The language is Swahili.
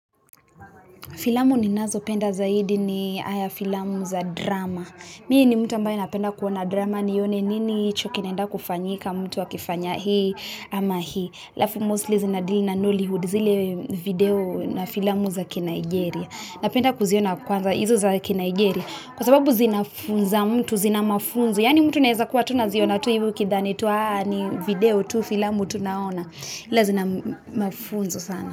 Filamu ninazo penda zaidi ni aya filamu za drama Mi ni mtu ambaye napenda kuwona drama nione nini hicho kinaenda kufanyika, mtu akifanya hii, ama hii alafu mostly zina dili na noly hood zile video na filamu za kinigeria Napenda kuziona kwanza izo za kinigeria Kwa sababu zina funza mtu, zina mafunzo Yani mtu naeza kuwa tu ziona tu hivi ukithani tu haa ni video tu filamu tu naaona Ila zina mafunzo sana.